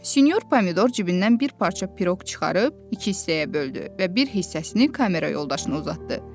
Sinyor pomidor cibindən bir parça piroq çıxarıb iki hissəyə böldü və bir hissəsini kamera yoldaşına uzatdı.